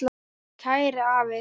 Kæri afi.